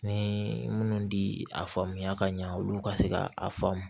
Ni minnu bi a faamuya ka ɲɛ olu ka se ka a faamu